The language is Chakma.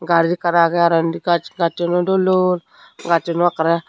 gari ekkan agey aro endi gassuno dol dol gasunu ekaray.